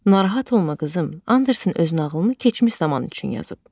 "Narahat olma qızım, Andersen öz nağılını keçmiş zaman üçün yazıb.